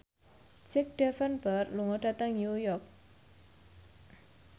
Jack Davenport lunga dhateng New York